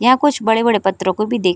यहां कुछ बड़े-बड़े पत्रों को भी दे --